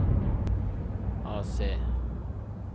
AC